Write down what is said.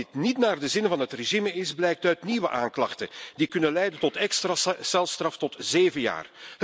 Dat dit niet naar de zin van dat regime is, blijkt uit nieuwe aanklachten die kunnen leiden tot extra celstraf tot zeven jaar.